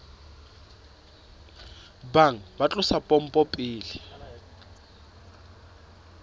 bang ba tlosa pompo pele